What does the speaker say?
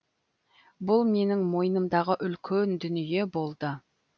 бұл менің мойнымдағы үлкен дүние болды